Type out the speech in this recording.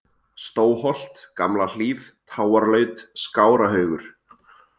Stóholt, Gamla-Hlíð, Táarlaut, Skárahaugur